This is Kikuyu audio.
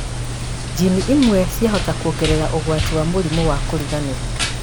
njini imwe ciahota kuongerera ũgwati wa kũgĩa mũrimũ a kũriganĩrwo